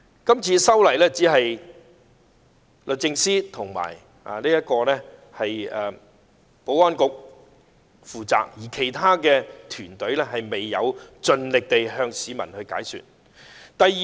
這次修例的工作只交由律政司及保安局負責，而其他團隊未有盡力向市民解說。